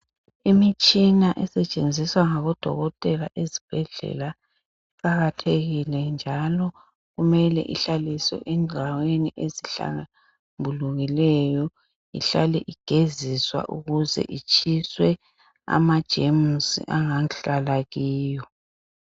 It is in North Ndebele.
Imitshina esetshenziswa ngabodokotela ezibhedlela njalo kumele ihlaliswe endaweni ezihlambulukileyo ihlale igeziswa ukuze itshiswe amajemusi angahlala kiyo.